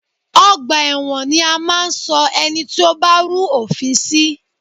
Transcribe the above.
Ọgbà ẹ̀wọn ni a máa ń ṣọ ẹni tí ó bá rú òfin sí